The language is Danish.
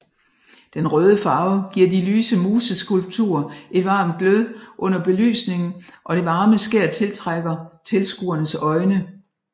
Den røde farve giver de lyse museskulpturer et varmt glød under belysningen og det varme skær tiltrækker tilskuernes øjne